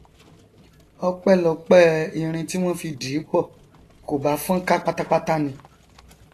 ọpẹlọpẹ irin tí wọn fi dì í pọ kò bá fọn ká pátápátá ni